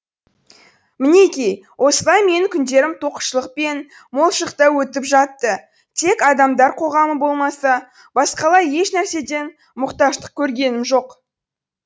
мінеки осылай менің күндерім тоқшылық пен молшылықта өтіп жатты тек адамдар қоғамы болмаса басқалай ешнәрседен мұқтаждық көргенім жоқ